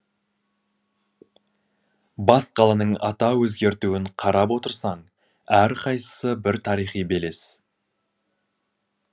бас қаланың атау өзгертуін қарап отырсаң әрқайсы бір тарихи белес